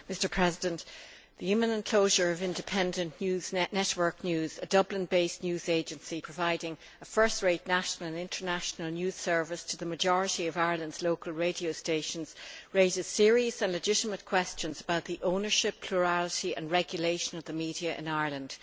Mr President, the imminent closure of Independent Network News, a Dublin based news agency providing a first rate national and international news service to the majority of Ireland's local radio stations, raises serious and legitimate questions about the ownership, plurality and regulation of the media in Ireland.